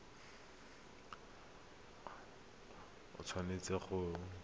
a tshotse lekwalo le le